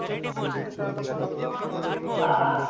বাবা